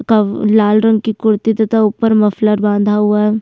कव लाल रंग की कुर्ती तथा ऊपर मफलर बाँधा हुआ है।